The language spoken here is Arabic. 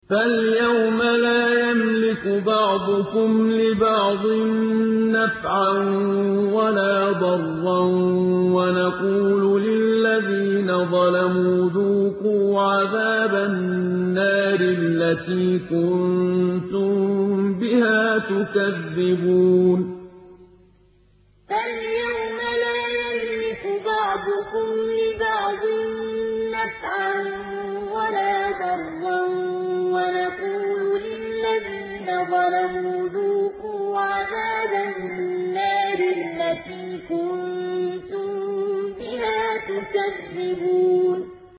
فَالْيَوْمَ لَا يَمْلِكُ بَعْضُكُمْ لِبَعْضٍ نَّفْعًا وَلَا ضَرًّا وَنَقُولُ لِلَّذِينَ ظَلَمُوا ذُوقُوا عَذَابَ النَّارِ الَّتِي كُنتُم بِهَا تُكَذِّبُونَ فَالْيَوْمَ لَا يَمْلِكُ بَعْضُكُمْ لِبَعْضٍ نَّفْعًا وَلَا ضَرًّا وَنَقُولُ لِلَّذِينَ ظَلَمُوا ذُوقُوا عَذَابَ النَّارِ الَّتِي كُنتُم بِهَا تُكَذِّبُونَ